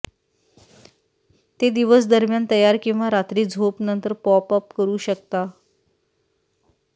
ते दिवस दरम्यान तयार किंवा रात्री झोप नंतर पॉप अप करू शकता